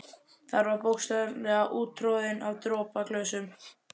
Hann var bókstaflega úttroðinn af dropaglösum.